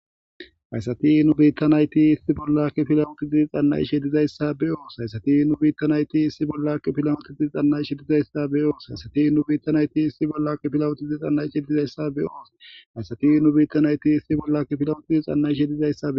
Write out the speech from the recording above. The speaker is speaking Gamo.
hayssati nu biittanayti issi bollakki filawoti zizi xanna ishe dizayssa be oos hayssati nu biittanayti issi bollakki pilawoti dii xanna ishe dizayssa be oos hayssati nu biittanayti issi bollaki filawutizi xanna ishe dizayssa be oos hayssati nu biittanayti issi bollakki filowotizi xanna ishe dizayssae